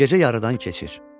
Gecə yarıdan keçir.